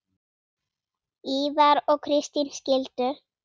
Ívar og Kristín skildu.